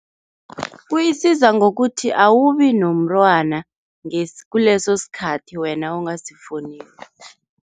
Kuyisiza ngokuthi awubi nomntwana kuleso sikhathi wena ongasifuniko.